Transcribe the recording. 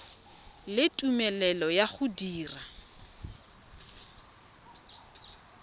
le tumelelo ya go dira